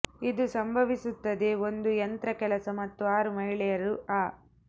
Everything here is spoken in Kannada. ಇದು ಸಂಭವಿಸುತ್ತದೆ ಒಂದು ಯಂತ್ರ ಕೆಲಸ ಮತ್ತು ಆರು ಮಹಿಳೆಯರು ಆ